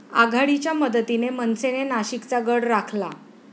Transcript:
आघाडीच्या मदतीने मनसेने नाशिकचा गड राखला